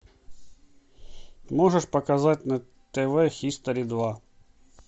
можешь показать на тв хистори два